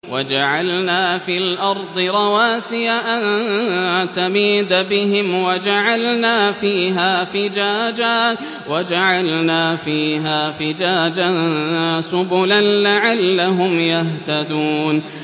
وَجَعَلْنَا فِي الْأَرْضِ رَوَاسِيَ أَن تَمِيدَ بِهِمْ وَجَعَلْنَا فِيهَا فِجَاجًا سُبُلًا لَّعَلَّهُمْ يَهْتَدُونَ